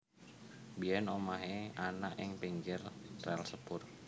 Biyen omahe ana ing pinggir rel sepur